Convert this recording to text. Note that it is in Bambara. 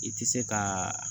I tɛ se ka